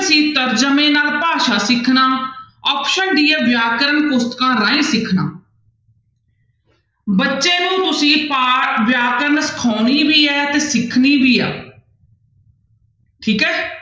c ਤਰਜਮੇ ਨਾਲ ਭਾਸ਼ਾ ਸਿਖਣਾ option d ਹੈ ਵਿਆਕਰਨ ਪੁਸਤਕਾਂ ਰਾਹੀਂ ਸਿੱਖਣਾ ਬੱਚੇ ਨੂੰ ਤੁਸੀਂ ਪਾ~ ਵਿਆਕਰਨ ਸਿਖਾਉਣੀ ਵੀ ਹੈ ਤੇ ਸਿਖਣੀ ਵੀ ਆ ਠੀਕ ਹੈ